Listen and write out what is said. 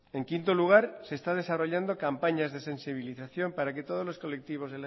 en quinto lugar se está desarrollando campañas de sensibilización para que todos los colectivos